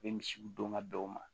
U bɛ misiw don ka bɛn o ma